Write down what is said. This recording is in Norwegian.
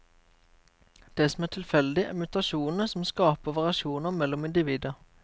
Det som er tilfeldig, er mutasjonene som skaper variasjoner mellom individer.